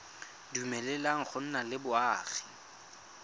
dumeleleng go nna le boagi